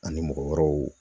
Ani mɔgɔ wɛrɛw